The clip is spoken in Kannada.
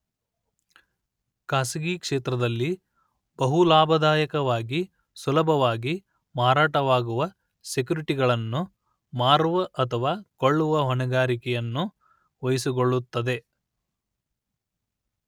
ಖಾಸಗಿ ಕ್ಷೇತ್ರದಲ್ಲಿ ಬಹು ಲಾಭದಾಯಕವಾಗಿ ಸುಲಭವಾಗಿ ಮಾರಾಟವಾಗುವ ಸೆಕ್ಯೂರಿಟಿಗಳನ್ನು ಮಾರುವ ಅಥವಾ ಕೊಳ್ಳುವ ಹೊಣೆಗಾರಿಕೆಯನ್ನು ವಹಿಸಿಕೊಳ್ಳುತ್ತದೆ